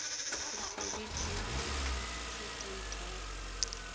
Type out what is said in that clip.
dikgwedi tse di fetang tharo